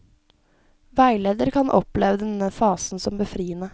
Veileder kan oppleve denne fasen som befriende.